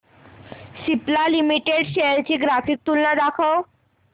Cipla limited shares ची graphical तुलना दाखव